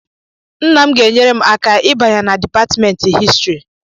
Nna m ga-enyere m aka ịbanye na Dipatmentị Histrị